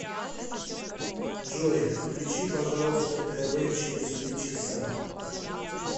джой включи пожалуйста тв через три часа